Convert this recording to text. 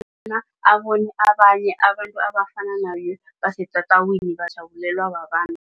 abone abanye abantu abafana naye basetatawini bajabulelwe babantu.